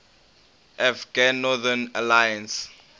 afghan northern alliance